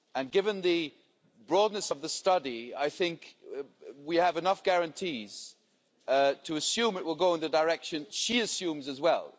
Given the broadness of the study, we have enough guarantees to assume it will go in the direction she assumes as well.